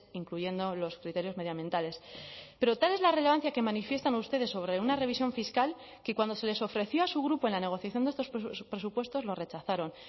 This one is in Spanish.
incluyendo los criterios medio ambientales pero tal es la relevancia que manifiestan ustedes sobre una revisión fiscal que cuando se les ofreció a su grupo en la negociación de estos presupuestos lo rechazaron